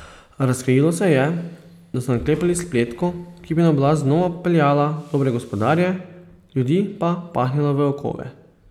Razkrilo se je, da so naklepali spletko, ki bi na oblast znova peljala Dobre gospodarje, ljudi pa pahnila v okove.